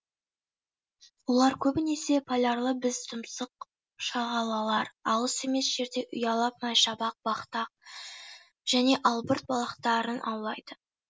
олар көбінесе полярлы бізтұмсық шағалалар алыс емес жерде ұялап майшабақ бахтах және албырт балықтарын аулайды